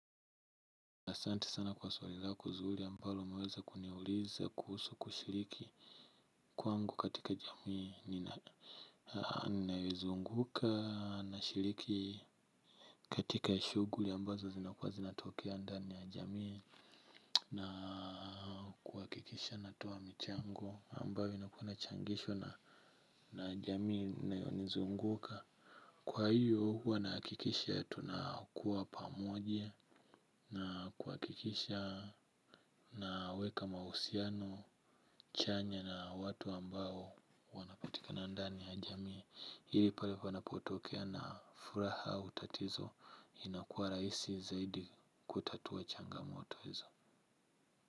Asante sana kwa swali lako zuri ambalo umeweza kuniuliza kuhusu kushiriki kwangu katika jamii. Ninaizunguka nashiriki katika shughuli ambazo zinakuwa zinatokea ndani ya jamii na kuhakikisha natoa michango ambayo inakuwa inachangishwa na jamii inayozunguka. Kwa hiyo huwa nahakikisha tunakuwa pamoje na kuhakikisha naweka mahusiano chanya na watu ambao wanapatikana ndani ya jamii. Ili pale panapotokea na furaha au tatizo inakuwa rahisi zaidi kutatua changamoto hizo.